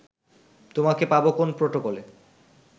তোমাকে পাব কোন প্রটোকলে